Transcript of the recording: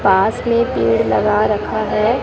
पास में पेड़ लगा रखा है।